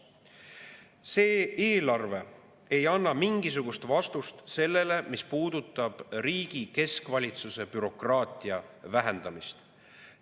See eelarve ei anna mingisugust vastust sellele, mis puudutab riigi keskvalitsuse bürokraatia vähendamist.